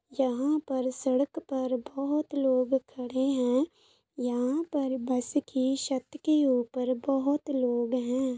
यहाँ पर सड़क पर बहुत लोग खड़े हैं। यहाँ पर बस की छत के ऊपर बहुत लोग हैं।